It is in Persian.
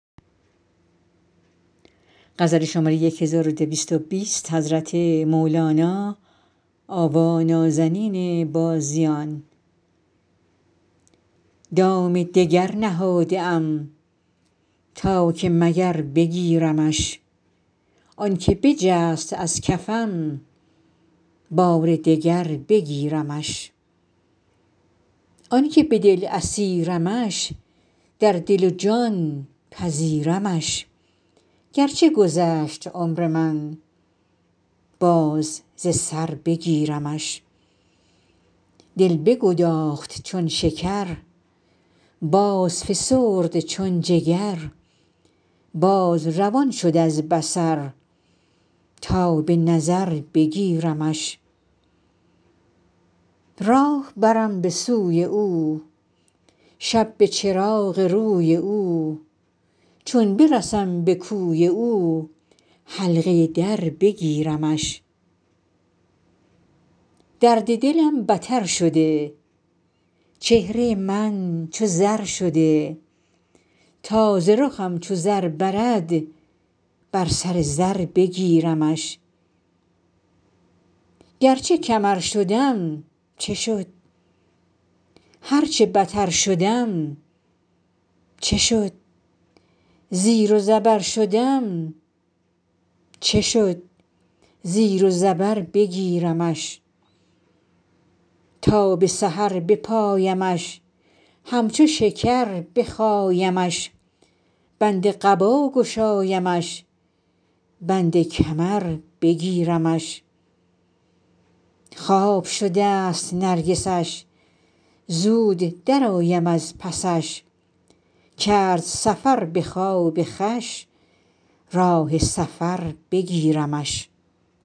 دام دگر نهاده ام تا که مگر بگیرمش آنک بجست از کفم بار دگر بگیرمش آنک به دل اسیرمش در دل و جان پذیرمش گرچه گذشت عمر من باز ز سر بگیرمش دل بگداخت چون شکر بازفسرد چون جگر باز روان شد از بصر تا به نظر بگیرمش راه برم به سوی او شب به چراغ روی او چون برسم به کوی او حلقه در بگیرمش درد دلم بتر شده چهره من چو زر شده تا ز رخم چو زر برد بر سر زر بگیرمش گرچه کمر شدم چه شد هر چه بتر شدم چه شد زیر و زبر شدم چه شد زیر و زبر بگیرمش تا به سحر بپایمش همچو شکر بخایمش بند قبا گشایمش بند کمر بگیرمش خواب شدست نرگسش زود درآیم از پسش کرد سفر به خواب خوش راه سفر بگیرمش